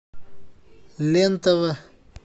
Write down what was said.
лен тв